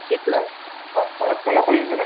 six lakh Bharatmala ପରିଜନ